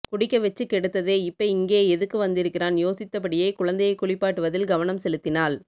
குடிக்க வச்சு கெடுத்ததே இப்ப இங்கே எதுக்கு வந்திருக்கான் யோசித்தபடியே குழந்தையை குளிப்பாட்டுவதில் கவனம்செலுத்தினாள்